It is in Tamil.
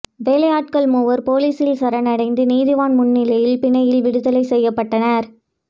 வேலையாட்கள் மூவர் பொலிசில் சரணடைந்து நீதவான் முன்னிலையில் பிணையில் விடுதலை செய்யப்பட்டனர்